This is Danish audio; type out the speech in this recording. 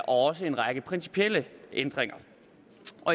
også en række principielle ændringer